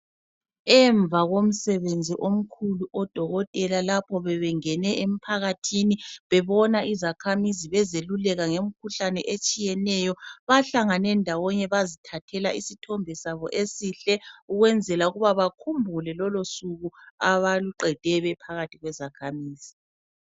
Emva komsebenzi omkhulu odokotela lapho bebengene emphakathini bebona izakhamizi, bezeluleka ngemkhuhlane etshiyeneyo, bahlangane ndawonye bazithathela isithombe sabo esihle ukwenzela ukuba bakhumbule lolo suku abaluqede bephakathi kwezakhamizi.